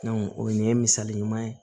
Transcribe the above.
o nin ye misali ɲuman ye